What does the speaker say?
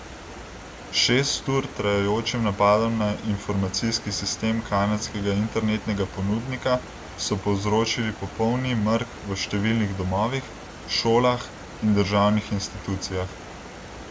S šest ur trajajočim napadom na informacijski sistem kanadskega internetnega ponudnika so povzročili popolni mrk v številnih domovih, šolah in državnih institucijah.